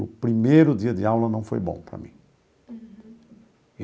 O primeiro dia de aula não foi bom para mim. Uhum.